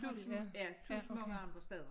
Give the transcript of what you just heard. Plus en ja plus mange andre steder